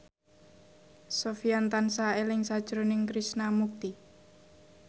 Sofyan tansah eling sakjroning Krishna Mukti